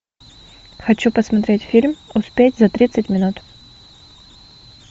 хочу посмотреть фильм успеть за тридцать минут